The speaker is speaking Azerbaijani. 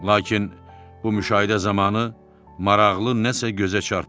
Lakin bu müşahidə zamanı maraqlı nəsə gözə çarpmadı.